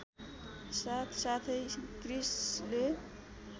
साथसाथै क्रिस्‌ले